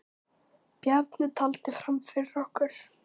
Bjarni taldi fram fyrir okkur.